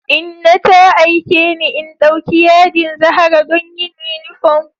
Inna ta aike ni in ɗauki yadin zahara don yin yunifom